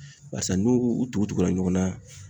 Barisa nu u tugu tugula ɲɔgɔn na